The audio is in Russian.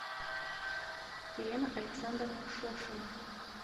елена александровна шошина